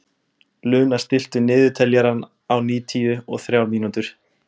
Luna, stilltu niðurteljara á níutíu og þrjár mínútur.